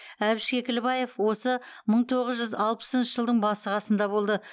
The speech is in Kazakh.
әбіш кекілбаев осы мың тоғыз жүз алпысыншы жылдың басы қасында болды